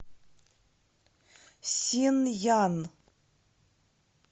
синъян